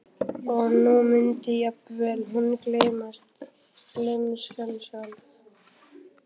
Og nú mundi jafnvel hún gleymast, gleymskan sjálf.